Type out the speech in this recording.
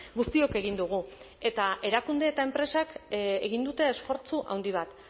guztiok egin dugu eta erakunde eta enpresek egin dute esfortzu handi bat